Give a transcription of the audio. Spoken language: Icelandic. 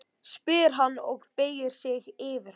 spyr hann og beygir sig yfir hana.